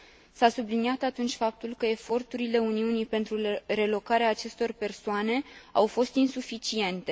S a subliniat atunci faptul că eforturile Uniunii pentru relocarea acestor persoane au fost insuficiente.